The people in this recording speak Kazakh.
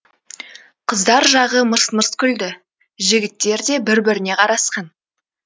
қыздар жағы мырс мырс күлді жігіттер де бір біріне қарасқан